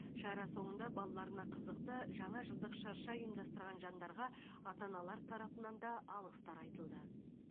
шара соңында балаларына қызықты жаңа жылдық шырша ұйымдастырған жандарға ата аналар тарапынан да алғыстар айтылды